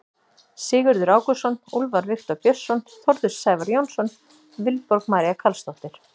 Sigurður Ágústsson, Úlfar Viktor Björnsson, Þórður Sævar Jónsson, Vilborg María Carlsdóttir.